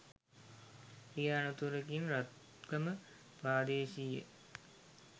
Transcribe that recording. රිය අනතුරකින් රත්ගම ප්‍රාදේශීය